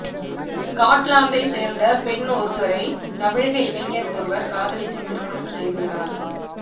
ஸ்காட்லாந்தைச் சேர்ந்த பெண்ணொருவரை தமிழக இளைஞர் ஒருவர் காதலித்து திருமணம் செய்துள்ளார்